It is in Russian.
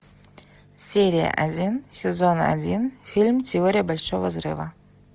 серия один сезон один фильм теория большого взрыва